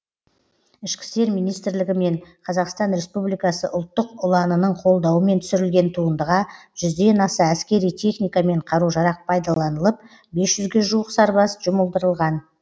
ішкі істер министрлігі мен қазақстан республикасы ұлттық ұланының қолдауымен түсірілген туындыға жүзден аса әскери техника мен қару жарақ пайдаланылып бес жүзге жуық сарбаз жұмылдырылған